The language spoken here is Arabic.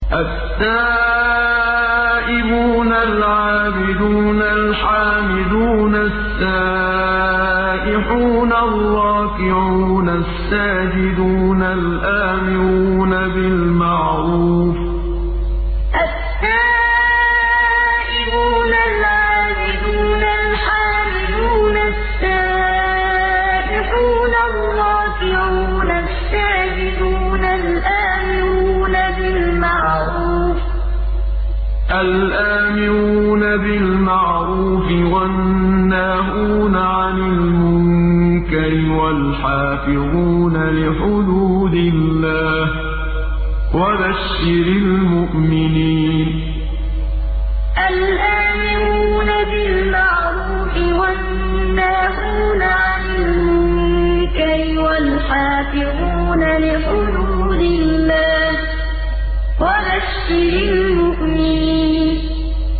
التَّائِبُونَ الْعَابِدُونَ الْحَامِدُونَ السَّائِحُونَ الرَّاكِعُونَ السَّاجِدُونَ الْآمِرُونَ بِالْمَعْرُوفِ وَالنَّاهُونَ عَنِ الْمُنكَرِ وَالْحَافِظُونَ لِحُدُودِ اللَّهِ ۗ وَبَشِّرِ الْمُؤْمِنِينَ التَّائِبُونَ الْعَابِدُونَ الْحَامِدُونَ السَّائِحُونَ الرَّاكِعُونَ السَّاجِدُونَ الْآمِرُونَ بِالْمَعْرُوفِ وَالنَّاهُونَ عَنِ الْمُنكَرِ وَالْحَافِظُونَ لِحُدُودِ اللَّهِ ۗ وَبَشِّرِ الْمُؤْمِنِينَ